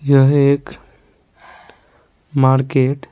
यह एक मार्केट ।